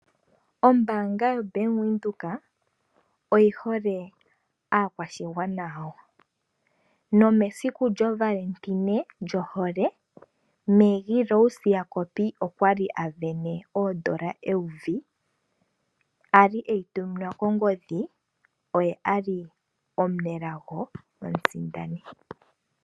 Ombaanga yo Bank Windhoek oyi hole aakwashigwana yawo nomesiku lyohole Maggie Rose Jacob okwa li asindana oondola eyovi, a li eyi tuminwa kongodhi oye a li omunelago omusindani.